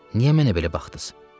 Niyə mənə belə baxdız?